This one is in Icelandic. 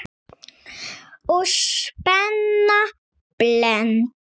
Og spenna beltin.